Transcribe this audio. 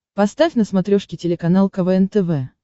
поставь на смотрешке телеканал квн тв